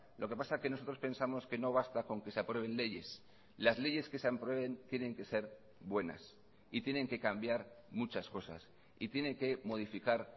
lo que pasa que nosotros pensamos que no basta con que se aprueben leyes las leyes que se aprueben tienen que ser buenas y tienen que cambiar muchas cosas y tienen que modificar